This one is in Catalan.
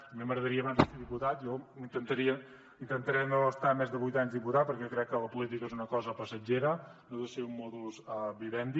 a mi m’agradaria abans de deixar de ser diputat jo intentaré no estar més de vuit anys diputat perquè crec que la política és una cosa passatgera no ha de ser un modus vivendi